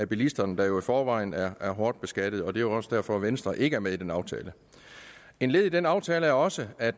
bilisterne der jo i forvejen er er hårdt beskattet det er også derfor venstre ikke er med i den aftale et led i den aftale er også at